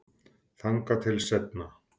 Þangað til seinna.